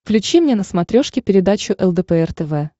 включи мне на смотрешке передачу лдпр тв